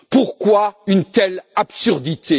Pourquoi une telle absurdité?